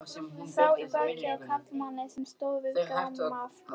Sá í bakið á karlmanni sem stóð við grammófóninn.